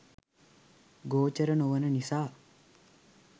ගෝචර නොවන නිසා